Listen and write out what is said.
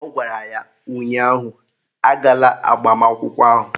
Ọ gwara ya ụnyaahụ "Agala agbamakwụkwọ ahụ"!